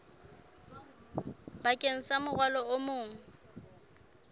bakeng sa morwalo o mong